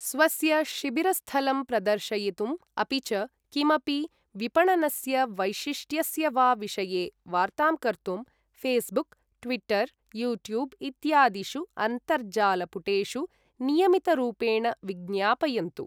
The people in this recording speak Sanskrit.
स्वस्य शिबिरस्थलं प्रदर्शयितुम् अपि च किमपि विपणनस्य वैशिष्ट्यस्य वा विषये वार्तां कर्तुं फ़ेसबुक्, ट्विटर्, यूट्यूब् इत्यादिषु अन्तर्जाल पुटेषु नियमितरूपेण विज्ञापयन्तु।